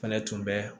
Fɛnɛ tun bɛ